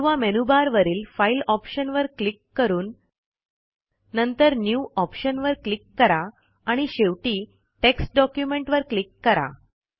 किंवा मेनूबारवरील फाइल ऑप्शनवर क्लिक करून नंतर न्यू ऑप्शनवर क्लिक करा आणि शेवटी टेक्स्ट डॉक्युमेंट वर क्लिक करा